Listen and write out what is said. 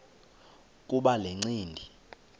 kuba le ncindi